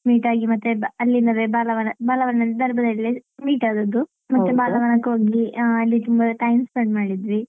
Meet ಆಗಿ ಮತ್ತೆ ಅಲ್ಲಿಂದಲೇ ಬಾಲವನ ಬಾಲವನ meet ಆದದ್ದು ಮತ್ತೆ ಬಾಲವನಕ್ಕೆ ಹೋದ್ವಿ ಅಲ್ಲಿ ಅಹ್ ತುಂಬಾ time spend ಮಾಡಿದ್ವಿ.